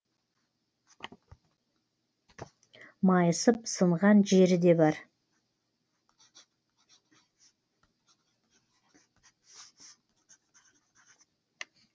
майысып сынған жері де бар